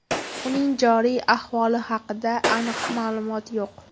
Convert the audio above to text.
Uning joriy ahvoli haqida aniq ma’lumot yo‘q.